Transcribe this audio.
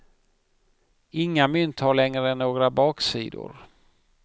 Inga mynt har längre några baksidor.